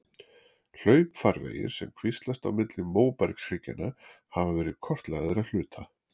Hlaupfarvegir sem kvíslast á milli móbergshryggjanna hafa verið kortlagðir að hluta.